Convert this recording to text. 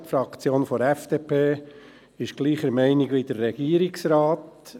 Die Fraktion der FDP ist gleicher Meinung wie der Regierungsrat.